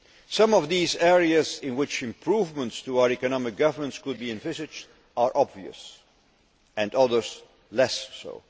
Some of these areas in which improvements to our economic governance could be envisaged are obvious others less so.